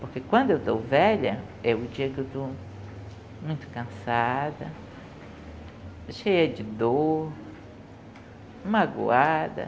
Porque quando eu estou velha, é o dia que eu estou muito cansada, cheia de dor, magoada.